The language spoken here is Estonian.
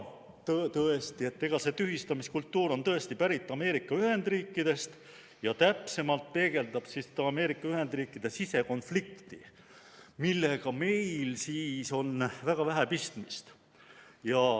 " Tõesti, see tühistamiskultuur on pärit Ameerika Ühendriikidest ja täpsemalt peegeldab Ameerika Ühendriikide sisekonflikti, millega meil on väga vähe pistmist.